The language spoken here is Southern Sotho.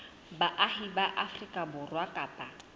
baahi ba afrika borwa kapa